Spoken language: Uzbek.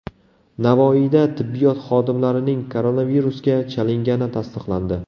Navoiyda tibbiyot xodimlarining koronavirusga chalingani tasdiqlandi.